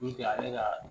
ale ka